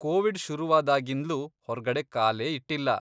Covid ಶುರುವಾದಾಗಿಂದ್ಲೂ ಹೊರ್ಗಡೆ ಕಾಲೇ ಇಟ್ಟಿಲ್ಲ.